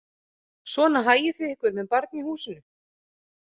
Svona hagið þið ykkur með barn í húsinu